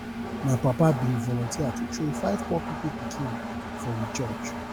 my papa bin volunteer to train five poor pipu pikin for we church